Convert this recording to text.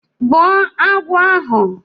Gbuo agwọ ahụ!